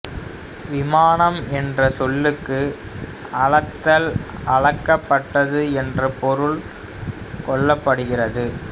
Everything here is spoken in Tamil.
விமானம் என்ற சொல்லுக்கு அளத்தல் அளக்கப்பட்டது என்ற பொருள் கொள்ளப்படுகின்றது